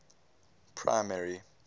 primary